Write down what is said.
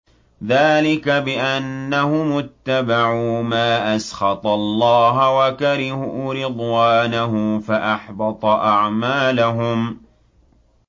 ذَٰلِكَ بِأَنَّهُمُ اتَّبَعُوا مَا أَسْخَطَ اللَّهَ وَكَرِهُوا رِضْوَانَهُ فَأَحْبَطَ أَعْمَالَهُمْ